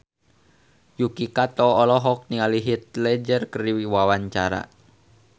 Yuki Kato olohok ningali Heath Ledger keur diwawancara